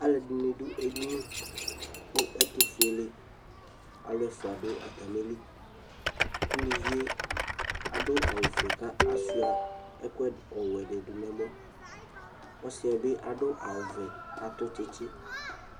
Aluɛdini du edini ku ɛtu fuele alu ɛfua du atamili uluvie adu awu ofue kashua ɛku ɔwɛ dibi nu ɛmɔ ɔsiɛ bi adu awu vɛ kadu tsitsi